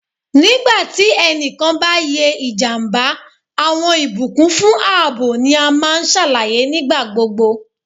Nigba ti ẹnikan ba ye ijamba, awọn ibukun fun aabo ni a maa n ṣalaye nigbagbogbo